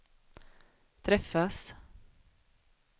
träffas